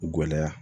Gɛlɛya